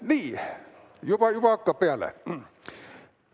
Nii, hakkab peale!